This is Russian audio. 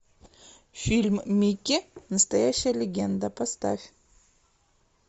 фильм микки настоящая легенда поставь